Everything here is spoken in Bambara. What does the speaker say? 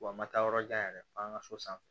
Wa n ma taa yɔrɔ jan yɛrɛ f'an ka so sanfɛ